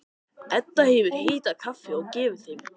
Edda hefur hitað kaffi og gefið þeim.